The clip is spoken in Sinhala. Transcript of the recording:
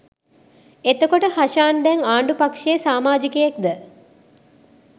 එතකොට හෂාන් දැන් ආණ්ඩු පක්ෂයේ සාමාජිකයෙක්ද?